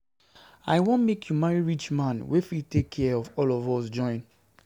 I wan make you marry rich man wey fit take care of all of us join.